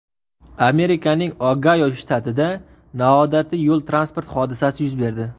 Amerikaning Ogayo shtatida noodatiy yo‘l-transport hodisasi yuz berdi.